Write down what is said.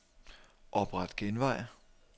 Opret genvej.